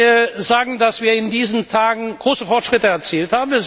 Da haben wir in diesen Tagen große Fortschritte erzielt.